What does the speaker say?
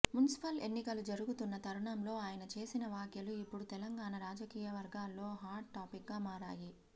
municipal ఎన్నికలు జరుగుతున్న తరుణంలో ఆయన చేసిన వ్యాఖ్యలు ఇప్పుడు తెలంగాణ రాజకీయవర్గాల్లో హాట్ టాపిక్గా మారాయి